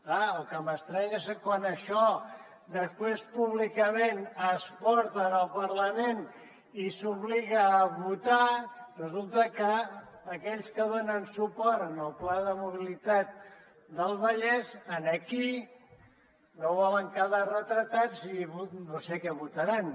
clar el que m’estranya és que quan això després públicament es porta al parlament i s’obliga a votar resulta que aquells que donen suport al pla de mobilitat del vallès aquí no volen quedar retratats i no sé què votaran